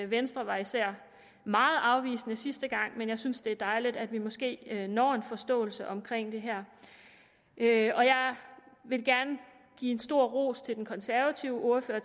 venstre var især meget afvisende sidste gang men jeg synes det er dejligt at vi måske når en forståelse omkring det her jeg vil gerne give en stor ros til den konservative ordfører